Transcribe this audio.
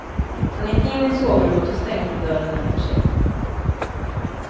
Han gick in i sovrummet och stängde dörren efter sig.